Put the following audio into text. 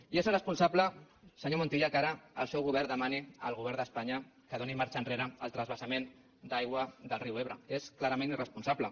i és irresponsable senyor montilla que ara el seu govern demani al govern d’espanya que doni marxa enrere al transvasament d’aigua del riu ebre és clarament irresponsable